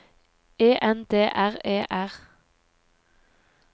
E N D R E R